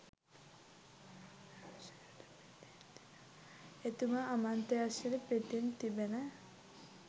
එතුමා අමාත්‍යංශයට පිටින් තිබෙන